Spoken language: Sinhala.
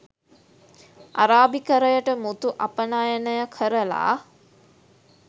අරාබිකරයට මුතු අපනයනය කරලා